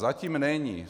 Zatím není.